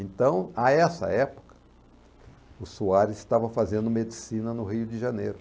Então, a essa época, o Soares estava fazendo medicina no Rio de Janeiro.